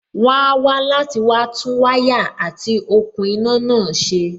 wón á wá láti wá tún wáyà àti òkun iná náà ṣe.